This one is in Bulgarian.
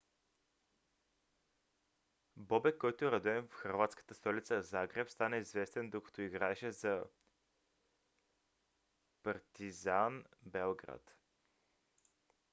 бобек който е роден в хърватската столица загреб стана известен докато играеше за партизан белград